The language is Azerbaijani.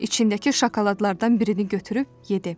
İçindəki şokoladlardan birini götürüb yedi.